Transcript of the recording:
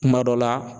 Kuma dɔ la